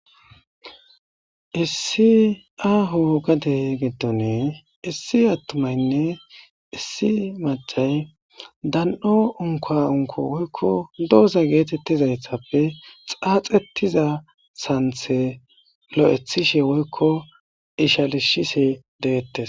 Issi aaho gadey giddone issi attumaynne issi macay dan7o unka unko woykko dooza geetettizayssappe xaaxettiza santhe lo7ethishe woykko ishalishisi deettes.